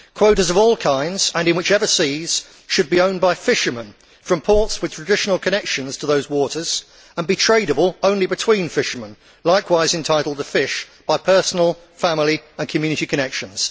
Quotas of all kinds and in whichever seas should be owned by fishermen from ports with traditional connections to those waters and be tradeable only between fishermen who are likewise entitled to fish by personal, family and community connections.